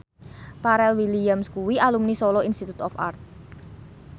Pharrell Williams kuwi alumni Solo Institute of Art